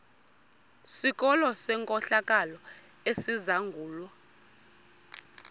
sikolo senkohlakalo esizangulwa